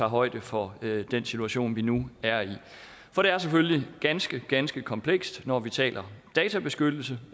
højde for den situation vi nu er i for det er selvfølgelig ganske ganske komplekst når vi taler databeskyttelse